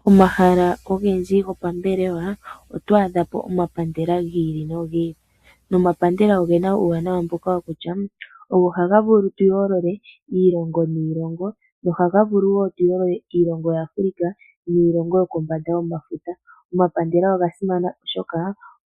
Pomahala ogendji popambelewa oto adhapo omapandela gi ili nogi ili, nomapandela ogena uuwanawa mboka kutya ogo haga vulu oku yoolola iilongo niilongo no haga vulu woo okuyooloa iilongo ya Africa niilongo yokondje yomafuta . Omapandela oga simana oshoka